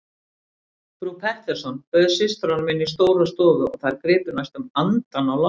Frú Pettersson bauð systrunum inn í stóra stofu og þær gripu næstum andann á lofti.